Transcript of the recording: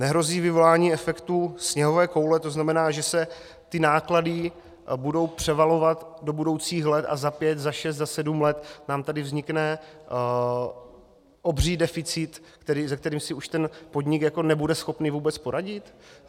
Nehrozí vyvolání efektu sněhové koule, to znamená, že se ty náklady budou převalovat do budoucích let a za pět, za šest, za sedm let nám tady vznikne obří deficit, se kterým už si ten podnik nebude schopen vůbec poradit?